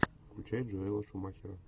включай джоэла шумахера